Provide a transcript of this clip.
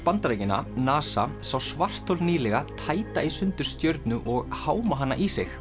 Bandaríkjanna NASA sá svarthol nýlega tæta í sundur stjörnu og háma hana í sig